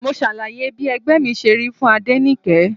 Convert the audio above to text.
Mo ṣàlàyé bí ẹgbẹ́ mi ṣe rí fún Adenike.